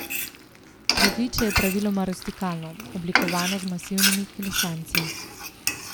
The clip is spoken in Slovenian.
Pritličje je praviloma rustikalno, oblikovano z masivnimi klesanci.